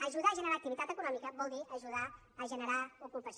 ajudar a generar activitat econòmica vol dir ajudar a generar ocupació